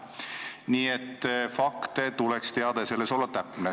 Nii et fakte tuleks teada ja olla nende esitamisel täpne.